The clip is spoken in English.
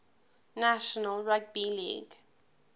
national rugby league